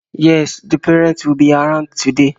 Yes, the parent would be around today